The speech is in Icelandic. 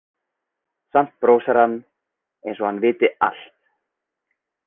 Samt brosir hann, eins og hann viti allt.